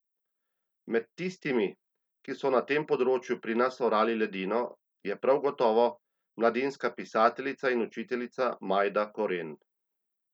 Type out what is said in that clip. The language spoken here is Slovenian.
Med tistimi, ki so na tem področju pri nas orali ledino, je prav gotovo mladinska pisateljica in učiteljica Majda Koren.